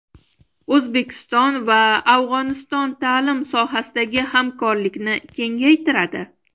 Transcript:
O‘zbekiston va Afg‘oniston ta’lim sohasidagi hamkorlikni kengaytiradi.